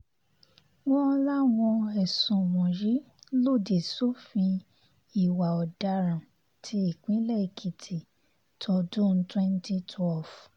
wọ́n láwọn ẹ̀sùn wọ̀nyí lòdì sófin ìwà ọ̀daràn ti ìpínlẹ̀ èkìtì tọdún twenty twelve